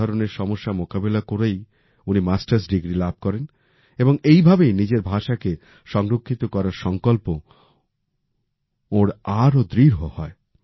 এই ধরনের সমস্যার মোকাবিলা করেই উনি মাস্টার্স ডিগ্রী লাভ করেন এবং এই ভাবেই নিজের ভাষাকে সংরক্ষিত করার সংকল্প ওঁনার আরও দৃঢ় হয়